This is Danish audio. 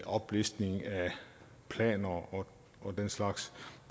oplistning af planer og den slags